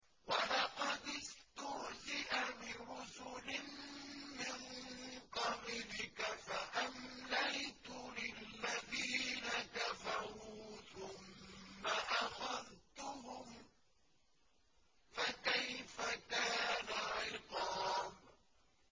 وَلَقَدِ اسْتُهْزِئَ بِرُسُلٍ مِّن قَبْلِكَ فَأَمْلَيْتُ لِلَّذِينَ كَفَرُوا ثُمَّ أَخَذْتُهُمْ ۖ فَكَيْفَ كَانَ عِقَابِ